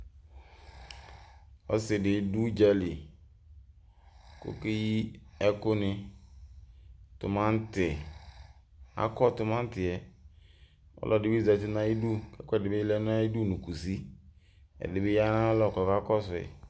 Ɔsidi dʋ ʋdzali kʋ okeyi ɛkʋni akɔ tumati yɛ kʋ ɔlɔdi bi zati nʋ ayʋ idʋ kʋ ɛkʋɛdi bibi lɛ nʋ kʋsi ɛdibi yanʋ ayʋ alɔ kʋ ɔkakɔsʋ yi